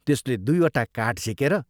त्यसले दुइवटा काठ झिकेर